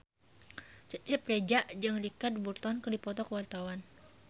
Cecep Reza jeung Richard Burton keur dipoto ku wartawan